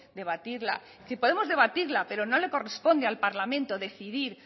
debatirla es decir podemos debatirla pero no le corresponde al parlamento decidir